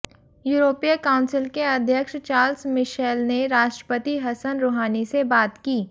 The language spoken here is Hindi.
यूरोपीय काउंसिल के अध्यक्ष चार्ल्स मिशेल ने राष्ट्रपति हसन रूहानी से बात की